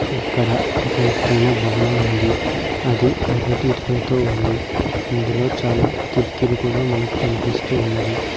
ఇక్కడ ఒక ఎత్తైన భవనం ఉంది అది ఎర్రటి ఇటుకలతో ఉంది ఇందులో చాలా కిటికీలు కూడా మనకు కనిపిస్తూ ఉన్నవి.